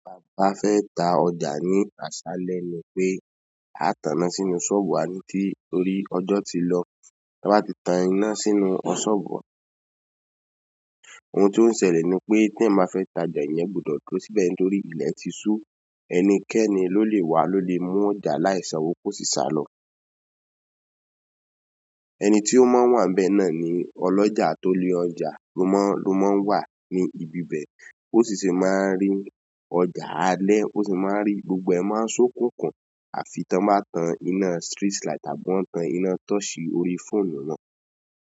Bà fé tá ọjà ní àsálẹ ní pé, a tàná sínú ṣọ́bùwà ni torí ọjọ́ tí lọ, ta bá ti tan iná sínú ọṣọ́bù. Ohun tòun ṣẹlẹ̀ ni pé tí ẹ ma fé tá ọjà yẹn gbọdọ̀ tó síbẹ̀ torí ilẹ̀ ti sú, ẹnikẹ́ni ló lè wá ló lè mú ọjà láì ṣanwò kó sì sálọ. Ẹni tí ó máa ń wà níbẹ̀ náà ni ọlọ́jà tó lé ọjà ló máa ń wà ní ibi bẹ́ẹ̀, ó sì máa ń rí ọjà alẹ́, ó sì máa ń rí gbogbo ẹ̀ máa ń ṣókùnkùn àfi tí wọ́n bá tan iná street light àbí wọ́n tan iná torch orí fóònù náà.